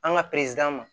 An ka ma